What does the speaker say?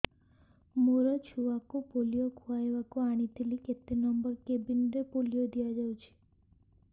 ମୋର ଛୁଆକୁ ପୋଲିଓ ଖୁଆଇବାକୁ ଆଣିଥିଲି କେତେ ନମ୍ବର କେବିନ ରେ ପୋଲିଓ ଦିଆଯାଉଛି